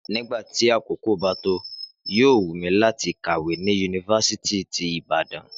Nígbà tí àkókò bá tó, yóò wù mí láti kàwé ni yunifásítì ti Ibadan